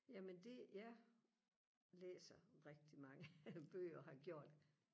jamen det jeg læser rigtig mange bøger og har gjort